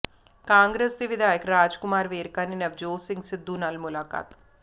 ਕਾਂਗਰਸ ਦੇ ਵਿਧਾਇਕ ਰਾਜ ਕੁਮਾਰ ਵੇਰਕਾ ਨੇ ਨਵਜੋਤ ਸਿੰਘ ਸਿੱਧੂ ਨਾਲ ਮੁਲਾਕਾਤ